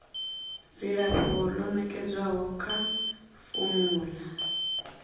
dzilafho ḽo nekedzwaho kha formulary